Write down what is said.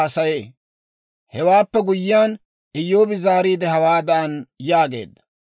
Hewaappe guyyiyaan, Iyyoobi zaariide, hawaadan yaageedda;